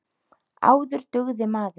Áður dugði maður.